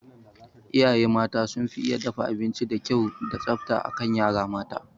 Iyaye mata sun fi iya dafa abinci da kyau da tsafta akan yara mata